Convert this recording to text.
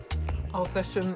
á þessum